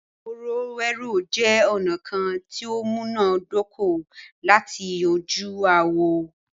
Ìfọ̀rọ̀wérọ̀ jẹ́ ọ̀nà kán tí o múná dóko lati yanju aáwọ̀.